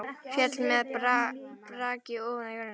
Féll með braki ofan á jörðina.